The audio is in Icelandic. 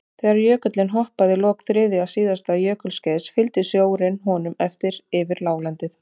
Þegar jökullinn hopaði í lok þriðja síðasta jökulskeiðs fylgdi sjórinn honum eftir inn yfir láglendið.